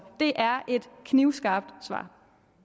er